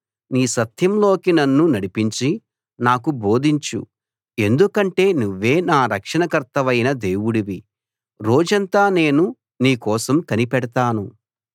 నీ సత్యంలోకి నన్ను నడిపించి నాకు బోధించు ఎందుకంటే నువ్వే నా రక్షణకర్తవైన దేవుడివి రోజంతా నేను నీ కోసం కనిపెడతాను